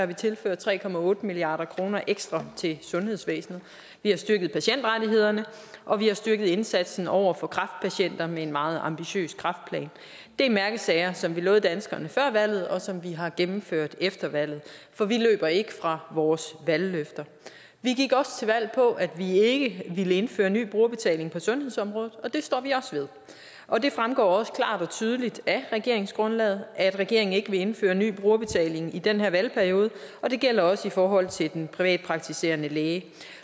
vi tilført tre milliard kroner ekstra til sundhedsvæsenet vi har styrket patientrettighederne og vi har styrket indsatsen over for kræftpatienter med en meget ambitiøs kræftplan det er mærkesager som vi lovede danskerne før valget og som vi har gennemført efter valget for vi løber ikke fra vores valgløfter vi gik også til valg på at vi ikke ville indføre ny brugerbetaling på sundhedsområdet og det står vi også ved og det fremgår også klart og tydeligt af regeringsgrundlaget at regeringen ikke vil indføre ny brugerbetaling i den her valgperiode og det gælder også i forhold til den privatpraktiserende læge